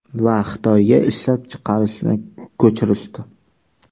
Va Xitoyga ishlab chiqarishni ko‘chirishdi.